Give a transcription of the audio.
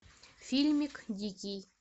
фильмик дикий